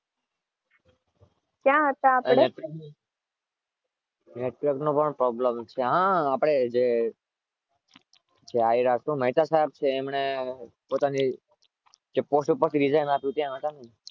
કયા હતા આપડે?